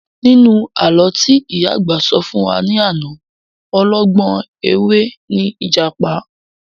Nínú àlọ́ tí ìyá àgbà sọ fún wa ní àná, ọlọ́gbọ́n ẹ̀wẹ́ ni ìjàpá